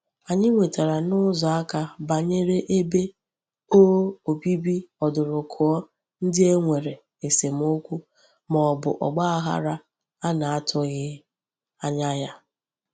Anyi nwetara n'uzo aka banyere ebe o obibi odurukuo ndi e nwere esemokwu ma obu ogbaghara a na-atughi anya ya.